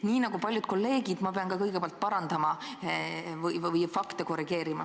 Nii nagu paljud kolleegid, pean ka mina kõigepealt parandama fakte.